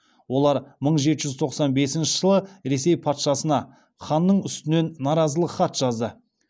олар мың жеті жүз тоқсан бесінші жылы ресей патшасына ханның үстінен наразылық хат жазды